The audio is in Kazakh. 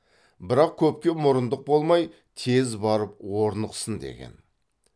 бірақ көпке мұрындық болмай тез барып орнықсын деген